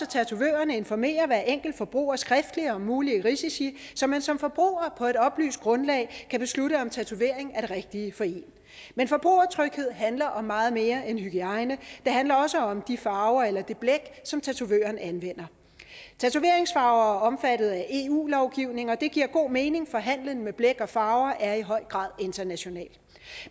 tatovørerne informerer hver enkelt forbruger skriftligt om mulige risici så man som forbruger på et oplyst grundlag kan beslutte om tatovering er det rigtige for en men forbrugertryghed handler om meget mere end hygiejne det handler også om de farver eller det blæk som tatovøren anvender tatoveringsfarver er omfattet af eu lovgivning og det giver god mening for handelen med blæk og farver er i høj grad international